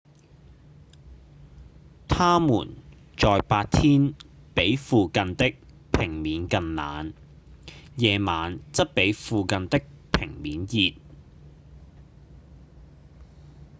「它們在白天比附近的平面更冷夜晚則比附近的平面熱